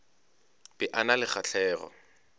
be a na le kgahlego